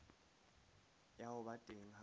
ya ho ba teng ha